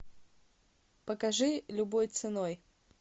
покажи любой ценой